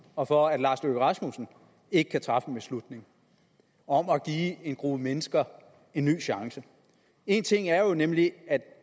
og for at herre lars løkke rasmussen ikke kan træffe en beslutning om at give en gruppe mennesker en ny chance en ting er jo nemlig